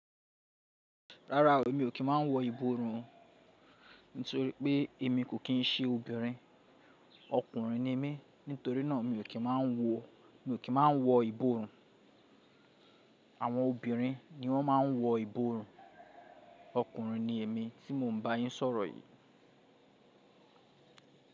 Rárá o, èmi ò kí n máa n wọ ìborùn nítorí pé èmi kò kín ń ṣe obìnrin, ọkùnrin ni mí, nítorí náà mi ò kí n máa wọ, mi ò kí n máa wọ ìborùn. Àwọn obìnrin ni wọ́n máa ń wọ ìborùn, ọkùnrin ni èmi tí mò ń bá yín sọ̀rọ̀ yìí.